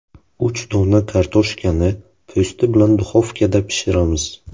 Uch dona kartoshkani po‘sti bilan duxovkada pishiramiz.